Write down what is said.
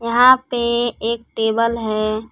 यहां पे एक टेबल है।